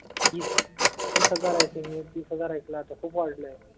तीस तीस हजार Ithink मी तीस हजार ऐकलं आता खूप वाढले आहेत.